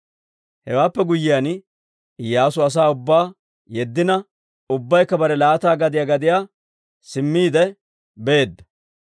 Hewaappe guyyiyaan, Iyyaasu asaa ubbaa yeddina, ubbaykka bare laata gadiyaa gadiyaa simmiide beedda.